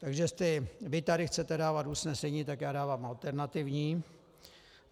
Takže jestli vy tady chcete dávat usnesení, tak já dávám alternativní.